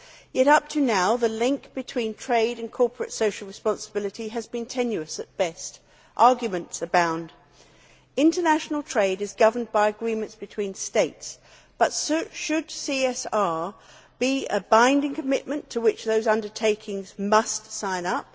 Yet up till now, the link between trade and corporate social responsibility has been tenuous at best, and arguments abound. International trade is governed by agreements between states, but should CSR be a binding commitment to which those undertakings must sign up?